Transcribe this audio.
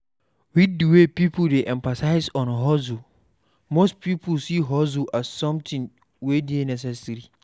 With di wey pipo dey emphasize on hustle, most pipo see hustle as something we dey necessary